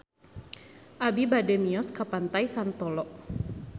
Abi bade mios ka Pantai Santolo